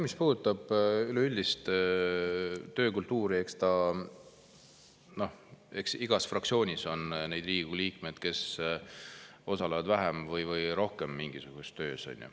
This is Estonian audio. Mis puudutab üleüldist töökultuuri, siis eks igas fraktsioonis on neid Riigikogu liikmeid, kes osalevad vähem või rohkem mingisuguses töös.